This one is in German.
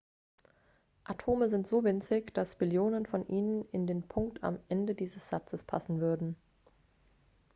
atome sind so winzig dass billionen von ihnen in den punkt am ende dieses satzes passen würden